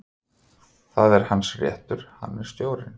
Það er hans réttur, hann er stjórinn.